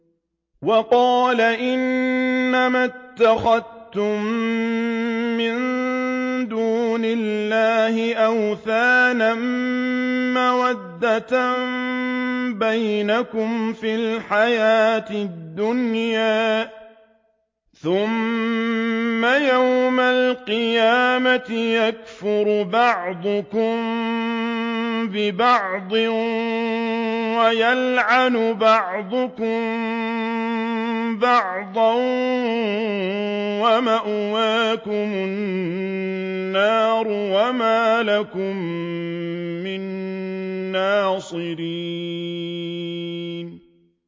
وَقَالَ إِنَّمَا اتَّخَذْتُم مِّن دُونِ اللَّهِ أَوْثَانًا مَّوَدَّةَ بَيْنِكُمْ فِي الْحَيَاةِ الدُّنْيَا ۖ ثُمَّ يَوْمَ الْقِيَامَةِ يَكْفُرُ بَعْضُكُم بِبَعْضٍ وَيَلْعَنُ بَعْضُكُم بَعْضًا وَمَأْوَاكُمُ النَّارُ وَمَا لَكُم مِّن نَّاصِرِينَ